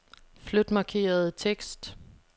Flyt markerede tekst.